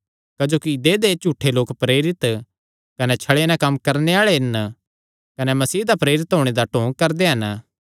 क्जोकि देहय् लोक झूठे प्रेरित कने छले नैं कम्म करणे आल़े हन कने मसीह दा प्रेरित होणे दा ढोंग करदे हन